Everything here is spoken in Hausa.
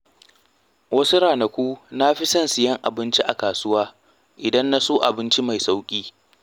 Wasu ranaku na fi son siyan abinci a kasuwa idan na so abinci mai sauƙi.